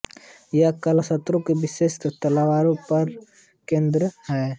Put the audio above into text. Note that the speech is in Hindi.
यह कला शस्त्रों विशेषकर तलवारों पर केन्द्रित है